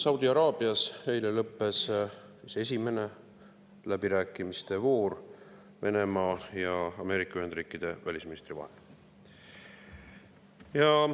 Saudi Araabias lõppes eile esimene läbirääkimiste voor Venemaa ja Ameerika Ühendriikide välisministri vahel.